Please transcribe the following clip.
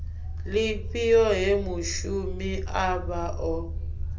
lifhio he mushumi avha o